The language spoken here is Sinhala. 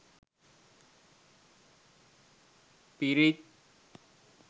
pirith